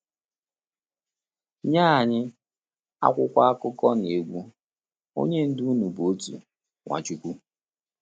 Nye anyị, akwụkwọ akụkọ na-ekwu: “Onye Ndu unu bụ otu, Nwachukwu.”